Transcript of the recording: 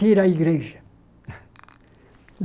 Tira a igreja.